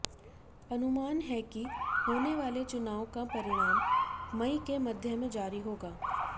अनुमान है कि होने वाले चुनाव का परिणाम मई के मध्य में जारी होगा